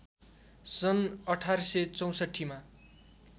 सन् १८६४ मा